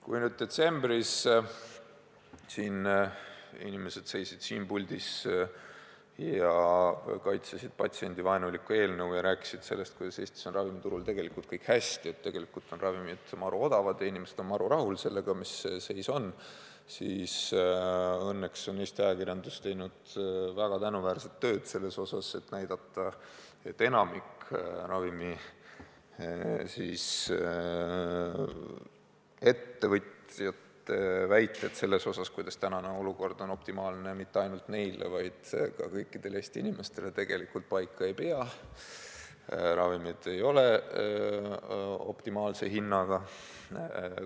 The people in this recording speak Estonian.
Kui detsembris inimesed seisid siin puldis ja kaitsesid patsiendivaenulikku eelnõu ja rääkisid sellest, kuidas Eestis on ravimiturul tegelikult kõik hästi, et ravimid on maru odavad ja inimesed on maru rahul sellega, mis seis on, siis õnneks on Eesti ajakirjandus teinud väga tänuväärset tööd, et näidata, et enamik ravimiettevõtjate väiteid selle kohta, kuidas tänane olukord on optimaalne mitte ainult neile, vaid ka kõikidele Eesti inimestele, tegelikult paika ei pea – ravimid ei ole optimaalse hinnaga.